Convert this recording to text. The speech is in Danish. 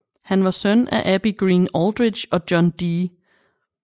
Han var søn af Abby Greene Aldrich og John D